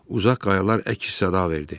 Uzaq qayalar əks-səda verdi.